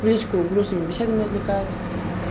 в личку грустными беседами отвлекают